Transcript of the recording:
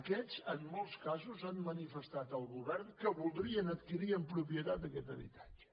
aquests en molts casos han manifestat al govern que voldrien adquirir en propietat aquest habitatge